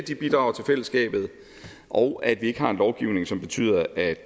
bidrager til fællesskabet og at vi ikke har en lovgivning som betyder at